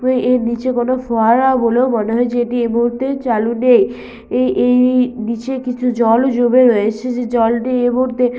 এর নীচে কোনো ফোয়ারা বলেও মনে হয় যেটি এই মুহূর্তে চালু নেই এ এই-ই নিচে কিছু জলও জমে রয়েছে যেই জলটি এই মুহূর্তে--